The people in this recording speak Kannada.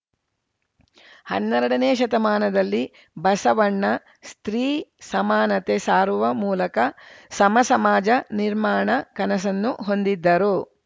ಹನ್ನೆರಡನೇ ಶತಮಾನದಲ್ಲಿ ಬಸವಣ್ಣ ಸ್ತ್ರೀ ಸಮಾನತೆ ಸಾರುವ ಮೂಲಕ ಸಮ ಸಮಾಜ ನಿರ್ಮಾಣ ಕನಸನ್ನು ಹೊಂದಿದ್ದರು